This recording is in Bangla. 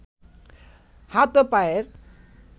হাত ও পায়ের